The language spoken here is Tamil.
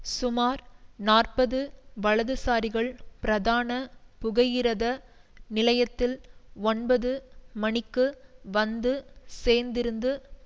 சுமார் நாற்பது வலதுசாரிகள் பிரதான புகையிரத நிலையத்தில் ஒன்பது மணிக்கு வந்து சேர்ந்திருந்து